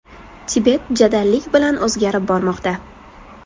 Tibet jadallik bilan o‘zgarib bormoqda.